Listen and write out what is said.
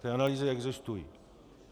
Ty analýzy existují.